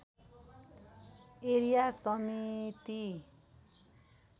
area समिति